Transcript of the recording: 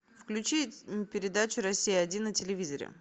включи передачу россия один на телевизоре